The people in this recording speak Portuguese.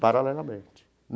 Paralelamente.